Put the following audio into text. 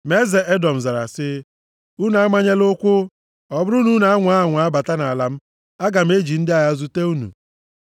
Ma eze Edọm zara sị, “Unu amanyela ụkwụ; ọ bụrụ na unu anwaa anwa bata nʼala m, aga m eji ndị agha m zute unu.”